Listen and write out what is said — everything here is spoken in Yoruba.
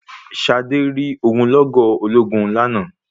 Ṣadé rí ogunlọ́gọ̀ ológun lánàá.